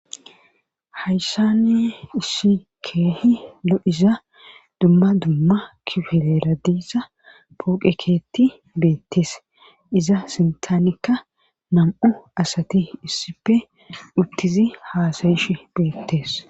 hayssani issikeehi lo7iza dumma dumma kifeleradiissa puqekeetti beettees iza sintaanekka nam7u asati issipe uttizi haasayish beettees